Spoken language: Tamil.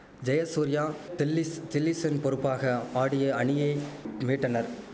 ஜெயசூர்யா தில்லிஸ் தில்லிஷன் பொறுப்பாக ஆடிய அணியை மீட்டனர்